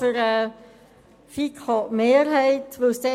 Für die FiKoMinderheit spricht Grossrätin Stucki.